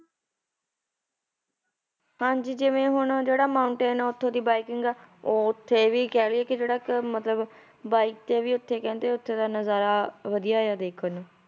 ਹਾਂਜੀ ਜਿਵੇਂ ਹੁਣ ਜਿਹੜਾ mountain ਆ ਉੱਥੋਂ ਦੀ biking ਆ, ਉਹ ਉੱਥੇ ਵੀ ਕਹਿ ਲਈਏ ਕਿ ਜਿਹੜਾ ਕਿ ਮਤਲਬ bike ਤੇ ਉੱਥੇ ਕਹਿੰਦੇ ਉੱਥੇ ਦਾ ਨਜ਼ਾਰਾ ਵਧੀਆ ਹੈ ਦੇਖਣ ਨੂੰ